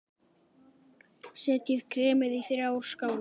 Setjið kremið í þrjár skálar.